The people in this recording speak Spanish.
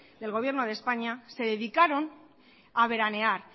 del gobierno de españa se dedicaron a veranear